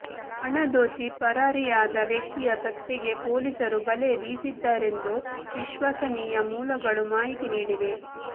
ಹಣ ದೋಚಿ ಪರಾರಿಯಾದ ವ್ಯಕ್ತಿಯ ಪತ್ತೆಗೆ ಪೊಲೀಸರು ಬಲೆ ಬೀಸಿದ್ದಾರೆಂದು ವಿಶ್ವಾಸನೀಯ ಮೂಲಗಳು ಮಾಹಿತಿ ನೀಡಿವೆ